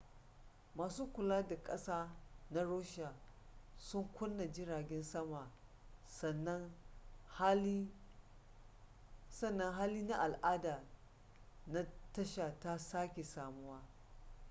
masu kula da kasa na russia sun kunna jiragen sama sannan hali na al'ada na tasha ta sake samuwa